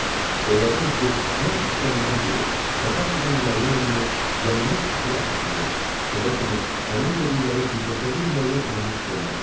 Onlardan ötrü ən istənilən biri, qabaqcadan müəyyən olunmuş yanlış fikrə əsaslanan, kölə kimi əməl elədikləri birdəfəlik müəyyən olunmuş forma var.